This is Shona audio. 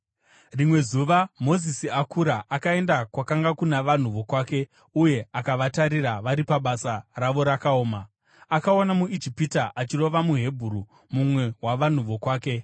Rimwe zuva Mozisi akura, akaenda kwakanga kuna vanhu vokwake uye akavatarira vari pabasa ravo rakaoma. Akaona muIjipita achirova muHebheru, mumwe wavanhu vokwake.